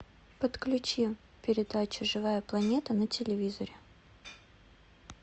подключи передачу живая планета на телевизоре